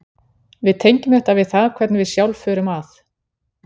við tengjum þetta við það hvernig við sjálf förum að